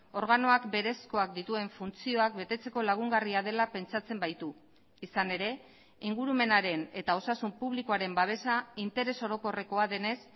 organoak berezkoak dituen funtzioak betetzeko lagungarria dela pentsatzen baitu izan ere ingurumenaren eta osasun publikoaren babesa interes orokorrekoa denez